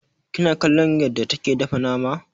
Kina kallon yarda take dafa nama?